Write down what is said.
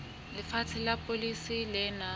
lefatshe la polasi le nang